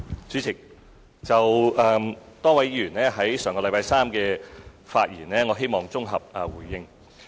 主席，就多位議員上星期三的發言，我希望綜合回應。